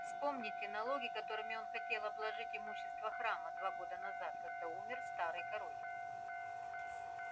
вспомните налоги которыми он хотел обложить имущество храма два года назад когда умер старый король